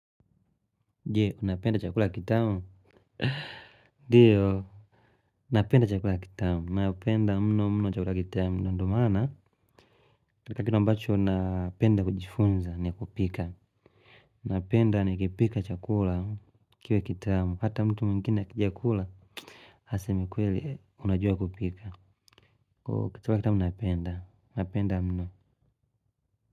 Jee, unapenda chakula kitamu? Ndiyo napenda chakula kitamu napenda mno mno chakula kitamu. Ndiyo maana, katika kile ambacho unapenda kujifunza ni kupika. Napenda nikipika chakula kiwe kitamu. Hata mtu mwingine akiija kula. Aseme kweli unajua kupika chakula kitamu napenda. Napenda mno.